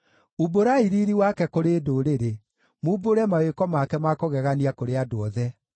Umbũrai riiri wake kũrĩ ndũrĩrĩ, mumbũre mawĩko make ma kũgegania kũrĩ andũ othe.